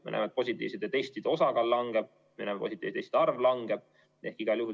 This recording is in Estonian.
Me näeme, et positiivsete testide osakaal langeb, me näeme, et positiivsete testide arv langeb.